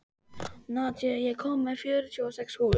Nadia, ég kom með fjörutíu og sex húfur!